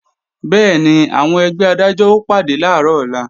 Bẹ́ẹ̀ni, àwọn ẹgbẹ́ Adájọ́ ó pàdé làárọ̀ ọ̀la